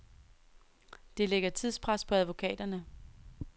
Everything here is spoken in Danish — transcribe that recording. Det lægger tidspres på advokaterne.